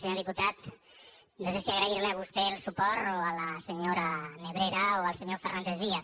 senyor diputat no sé si agrair li a vostè el suport o a la senyora nebrera o al senyor fernández díaz